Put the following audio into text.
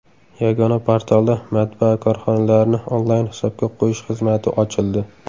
Yagona portalda matbaa korxonalarini onlayn hisobga qo‘yish xizmati ochildi.